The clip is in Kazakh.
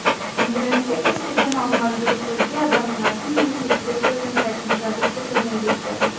интернетте кез келген алынған дереккөзге адамның атын немесе дерек көзін сайтын жазып кету міндетті